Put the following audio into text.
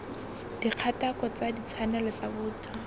dikgatako tsa ditshwanelo tsa botho